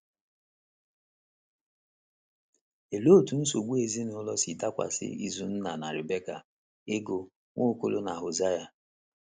Olee otú nsogbu ezinụlọ si dakwasị Izunna na Rebeka, Ego, Nwaokolo, na Hosea?